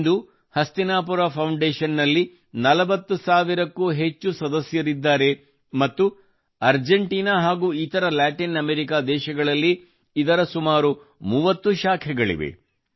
ಇಂದು Hastinapura foundation ನ 40 ಸಾವಿರಕ್ಕೂ ಅಧಿಕ ಸದಸ್ಯರಿದ್ದಾರೆ ಮತ್ತು ಅರ್ಜೆಂಟಿನ ಮತ್ತು ಇತರ ಲ್ಯಾಟಿನ್ ಅಮೆರಿಕಾ ದೇಶಗಳಲ್ಲಿ ಇದರ ಸುಮಾರು 30 ಶಾಖೆಗಳಿವೆ